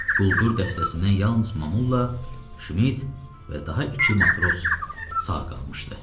Quldur dəstəsindən yalnız Mamulla, Şmit və daha iki matros sağ qalmışdı.